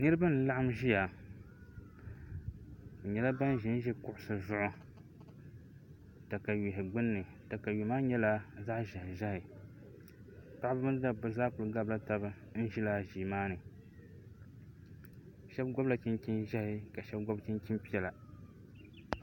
Niraba n laɣam ʒiya bi nyɛla ban ʒinʒi kuɣusi zuɣu katawiya gbunni katawiya maa nyɛla zaɣ ʒiɛhi ʒiɛhi paɣaba mini dabba zaa ku laɣamla taba n ʒi laa ʒii maa ni shab gobla chinchin ʒiɛhi ka shab gob chinchin piɛla